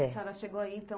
A senhora chegou aí, então...